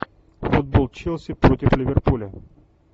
футбол челси против ливерпуля